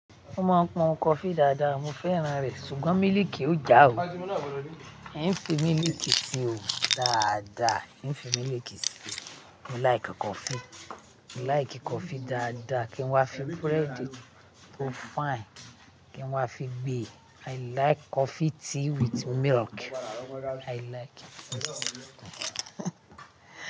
Mo máa ń pọn coffee dáadáa, mo fẹ́ràn rẹ̀, ṣùgbọ́n mílìkì ò já ò. En fi mílìkì sí o dáadáa, ën fi mílìkì síi. Mo like coffee, mo like coffee dáadáa kí n wá fi bread tó fine, kí n wá fi gbé. I like coffee tea with milk, I like it.